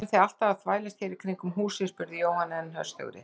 Hvað eruð þið alltaf að þvælast hér í kringum húsið? spurði Jóhann enn höstugri.